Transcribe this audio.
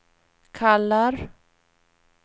kallar